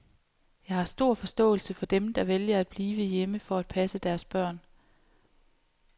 Jeg har stor forståelse for dem, der vælger at blive hjemme for at passe deres børn.